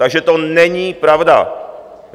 Takže to není pravda.